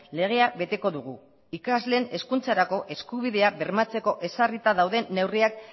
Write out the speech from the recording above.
legea beteko dugu ikasleen hezkuntzarako eskubideak bermatzeko ezarrita dauden neurriak